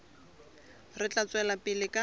re tla tswela pele ka